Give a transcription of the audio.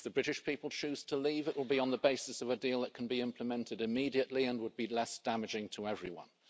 If the British people choose to leave, it will be on the basis of a deal that can be implemented immediately and would be less damaging to everyone.